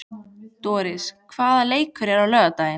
Doris, hvaða leikir eru í kvöld?